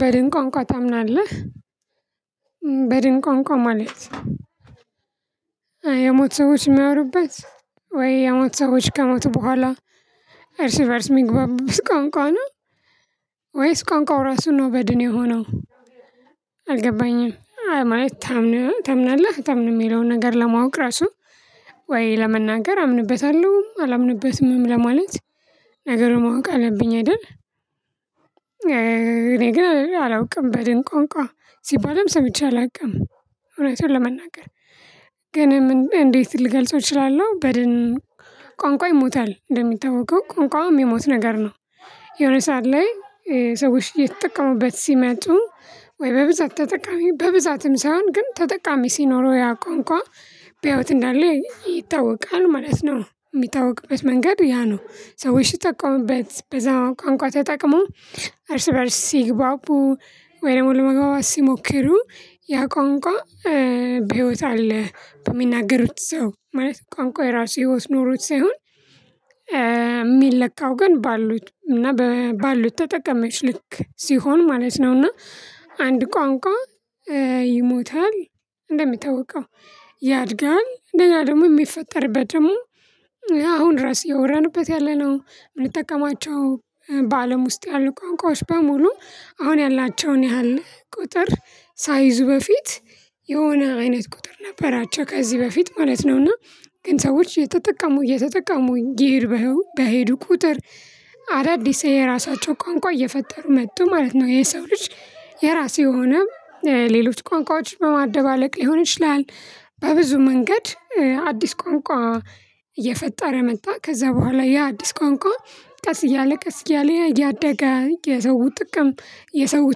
በድንቋንቋ ታምናለህ በድንቋንቋ ማለት የሞቱ ሰዎች የሚያወሩበት ወይ የሞቱ ሰዎች ከሞቱ በኋላ እርስ እርስ የሚግባቡበት ቋንቋ ነው ወይስ ቋንቋው ራሱ ነው በድን የሆነው? አልገባኝም አይ ማለት ታምናለህ አታምንም የሚለውን ነገር ለማወቅ ራሱ ወይ ለመናገር አምንበታለሁ አላምንበትምም ለማለት ነገሩን ማወቅ አለብኝ አይደል? እኔ ግን አላውቅም በድን ቋንቋ ሲባልም ሰምቼ አላውቅም። እውነቱን ለመናገር ግን እንዴት ልገልጸው እችላለሁ? በድን ቋንቋ ይሞታል እንደሚታወቀው ቋንቋው የሚሞት ነገር ነው። የሆነ ሰዓት ላይ ሰዎች እየተጠቀሙበት ሲመጡ ወይ በብዛት ተጠቃሚ በብዛትም ሳይሆን ግን ተጠቃሚ ሲኖረው ያ ቋንቋ በህይወት እንዳለ ይታወቃል ማለት ነው። የሚታወቅበት መንገድ ያ ነው ሰዎች ሲጠቀሙበት በዛ ቋንቋ ተጠቅሞ እርስ በእርስ ሲግባቡ ወይ ደግሞ ለመግባባት ሲሞክሩ ያ ቋንቋ በህይወት አለ። በሚናገሩት ሰው ማለት ቋንቋ የራሱ ህይወት ኖሮት ሳይሆን የሚለካው ግን ባሉት እና ባሉት ተጠቀሚዎች ልክ ሲሆን ማለት ነው። እና አንድ ቋንቋ ይሞታል። እንደሚታወቀው ያድጋል እንደገና ደግሞ የሚፈጠርበት ደግሞ አሁን ራስ እያወራንበት ያለነው የምንጠቀማቸው በአለም ውስጥ ያሉ ቋንቋዎች በሙሉ አሁን ያላቸውን ያህል ቁጥር ሳይዙ በፊት የሆነ አይነት ቁጥር ነበራቸው ከዚህ በፊት ማለት ነው። እና ግን ሰዎች እየተጠቀሙ እየተጠቀሙ ይሄድ በሄዱ ቁጥር አዳዲስ የራሳቸው ቋንቋ እየፈጠሩ መጡ ማለት ነው። የሰው ልጅ የራሴ የሆነ ሌሎች ቋንቋዎች በማደባለቅ ሊሆን ይችላል። በብዙ መንገድ አዲስ ቋንቋ እየፈጠረ መጣ ከዛ በኋላ ያ አዲስ ቋንቋ ቀስ እያለ ቀስ እያለ እያደገ የሰው ጥቅም የሰው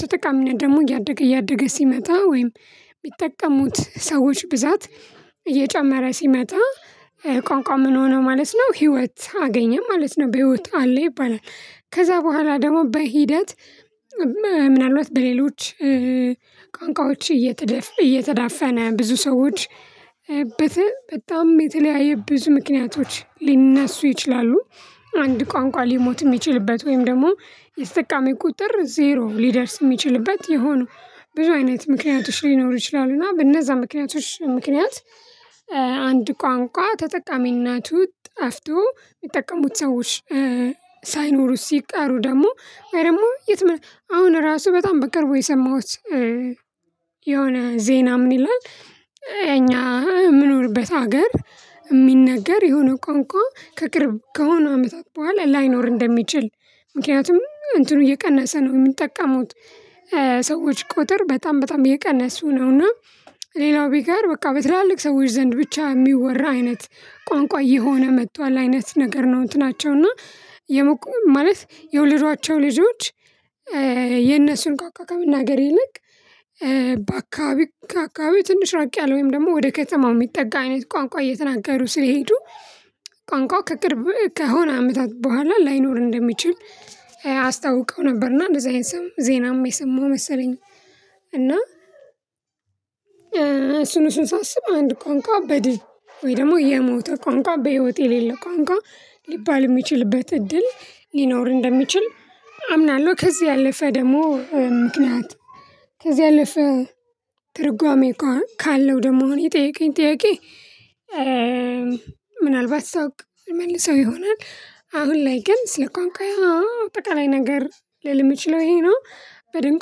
ተጠቃሚነት ደግሞ እያደገ እያደገ ሲመጣ ወይም ሚጠቀሙት ሰዎች ብዛት እየጨመረ ሲመጣ ቋንቋ ምን ሆነ ማለት ነው። ህይወት አገኘ ማለት ነው በህይወት አለ ይባላል። ከዛ በኋላ ደግሞ በሂደት ምናልባት በሌሎች ቋንቋዎች እየተዳፈነ ብዙ ሰዎች በጣም የተለያየ ብዙ ምክንያቶች ሊነሱ ይችላሉ። አንድ ቋንቋ ሊሞት የሚችልበት ወይም ደግሞ የተጠቃሚ ቁጥር ዜሮ ሊደርስ የሚችልበት የሆኑ ብዙ አይነት ምክንያቶች ሊኖሩ ይችላሉ። እና በእነዛ ምክንያቶች ምክንያት አንድ ቋንቋ ተጠቃሚነቱ ጠፍቶ የሚጠቀሙት ሰዎች ሳይኖሩ ሲቀሩ ደግሞ ወይ ደግሞ አሁን ራሱ በጣም በቅርቡ የሰማሁት የሆነ ዜና ምን ይላል? እኛ የምኖርበት ሀገር የሚነገር የሆነ ቋንቋ ከቅርብ ከሆነ አመታት በኋላ ላይኖር እንደሚችል። ምክንያቱም እንትኑ እየቀነሰ ነው የሚጠቀሙት ሰዎች ቁጥር በጣም በጣም የቀነሱ ነው። እና ሌላው ቢቀር በቃ በትላልቅ ሰዎች ዘንድ ብቻ የሚወራ አይነት ቋንቋ እየሆነ መጥቷል አይነት ነገር ነው። እንትናቸው እና የመቆም ማለት የወለዷቸው ልጆች የነእርሱን ቋንቋ ከመናገር ይልቅ በአከባቢ ከአካባቢ ትንሽ ራቅ ያለ ወይም ደግሞ ወደ ከተማው የሚጠጋ አይነት ቋንቋ እየተናገሩ ስለሄዱ ቋንቋው ከቅርብ ከሆነ አመታት በኋላ ላይኖር እንደሚችል አስታውቀው ነበርና እንደዚህ አይነትም ዜናም የሰማሁ መሰለኝ። እና እሱን እሱን ሳስብ አንድ ቋንቃ በድን ወይ ደግሞ የሞተ ቋንቋ በህይወት የሌለ ቋንቋ ሊባል የሚችልበት እድል ሊኖር እንደሚችል አምናለሁ። ከዚህ ያለፈ ደግሞ ምክንያት ከዚህ ያለፈ ትርጓሜ ካለው ደግሞ አሁን የጠየቀኝ ጥያቄ ምናልባት ሳውቅ መልሰው ይሆናል። አሁን ላይ ግን ስለ ቋንቋ አጠቃላይ ነገር ልል የምችለው ይሄ ነው። በድን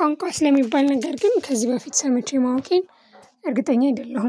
ቋንቋ ስለሚባል ነገር ግን ከዚህ በፊት ሰምቼ ማወቄን እርግጠኛ አይደለሁም